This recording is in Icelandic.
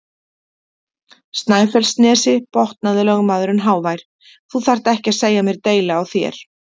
Snæfellsnesi, botnaði lögmaðurinn hávær,-þú þarft ekki að segja mér deili á þér!